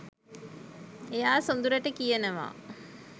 එයා සොඳුරට කියනවා